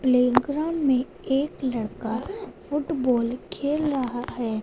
Playground में एक लड़का फुटबॉल खेल रहा है।